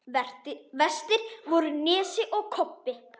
Verstir voru Nesi og Kobbi.